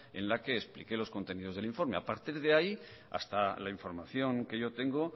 en la que expliqué los contenidos del informe a partir de ahí hasta la información que yo tengo